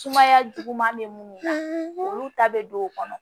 Sumaya juguman bɛ minnu na olu ta bɛ don o kɔnɔ